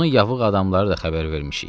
Bunun yavıq adamları da xəbər vermişik.